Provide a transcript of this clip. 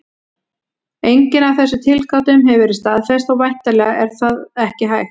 Engin af þessum tilgátum hefur verið staðfest, og væntanlega er það ekki hægt.